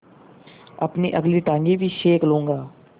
अपनी अगली टाँगें भी सेक लूँगा